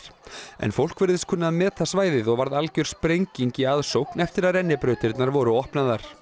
en fólk virðist kunna að meta svæðið og varð algjör sprenging í aðsókn eftir að rennibrautirnar voru opnaðar